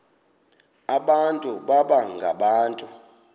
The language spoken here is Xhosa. abantu baba ngabantu